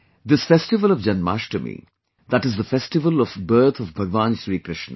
This festival of Janmashtami, that is the festival of birth of Bhagwan Shri Krishna